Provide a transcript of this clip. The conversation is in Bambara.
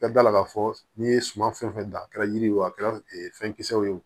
I ka da la k'a fɔ n'i ye suman fɛn fɛn da a kɛra yiri ye o a kɛra fɛn kisɛ ye o